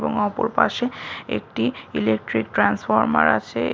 এবং অপর পাশে একটি ইলেকট্রিক ট্রান্সফরমার আছে।